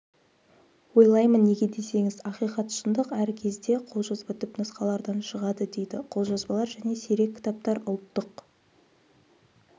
ойлаймын неге десеңіз ақиқат шындық әркезде қолжазба түпнұсқалардан шығады дейді қолжазбалар және сирек кітаптар ұлттық